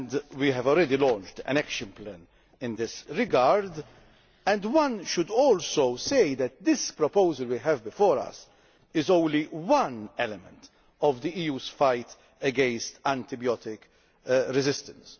We have already launched an action plan in this regard and one should also say that the proposal that we have before us is only one element of the EU's fight against antibiotic resistance.